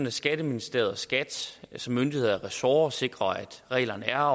at skatteministeriet og skat som myndighed og ressort sikrer at reglerne er